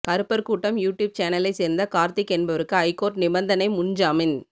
கறுப்பர் கூட்டம் யூடியூப் சேனலை சேர்ந்த கார்த்திக் என்பவருக்கு ஐகோர்ட் நிபந்தனை முன்ஜாமின்